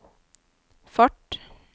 fart